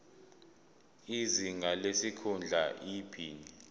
izinga lesikhundla iphini